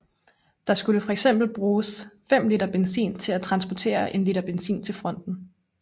Der skulle fx bruges fem liter benzin på at transportere en liter benzin til fronten